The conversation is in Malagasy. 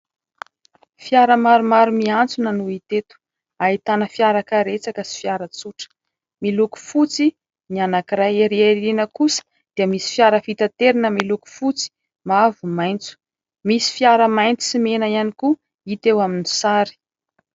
Fiara maromaro miantsona no hita eto. Ahitana fiara karetsaka sy fiara tsotr,a miloko fotsy ny anakiray ery arina kosa dia misy fiara fitaterina miloko: fotsy, mavo, maintso, misy fiara-maintso sy mena ihany koa hita eo amin'ny sary.